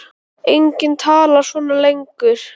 Enginn talar svona lengur.